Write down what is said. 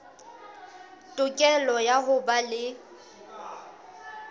tokelo ya ho ba le